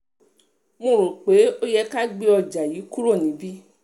mo rò pé ó um yẹ ká gbé ọjà um yìí kúrò níbí